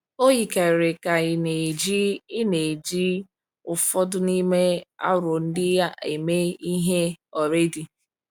O yikarịrị ka ị na-eji ị na-eji ụfọdụ n’ime aro ndị a eme ihe already.